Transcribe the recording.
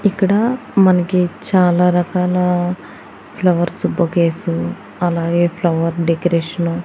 ఇక్కడ మనకి చాలా రకాల ఫ్లవర్సు బొకేసు అలాగే ఫ్లవర్ డెకరేషను --